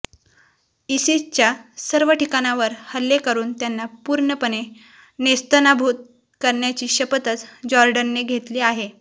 इसिसच्या सर्व ठिकाणांवर हल्ले करून त्यांना पूर्णपणे नेस्तनाबूत करण्याची शपथच जॉर्डनने घेतली आहे